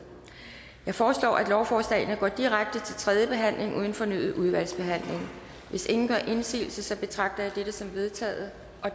jeg foreslår at lovforslagene går direkte til tredje behandling uden fornyet udvalgsbehandling hvis ingen gør indsigelse betragter jeg dette som vedtaget